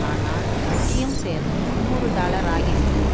ஆனால் வட்டியும் சேர்ந்து முன்னூறு டாலர் ஆகிவிட்டது